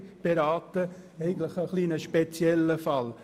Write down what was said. Es ist einfach ein bisschen ein spezieller Fall.